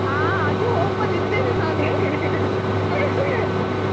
ಆ ಹಾ ಅದು hope ಲ್ಲಿದ್ದೇನೆ ನಾನು.